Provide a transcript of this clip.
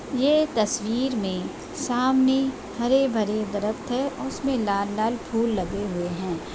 ये तस्वीर मे सामने हरे-भरे द्रफत है उसमे लाल-लाल फूल लगे हुए है ।